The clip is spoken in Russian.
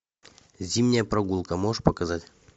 зимняя прогулка можешь показать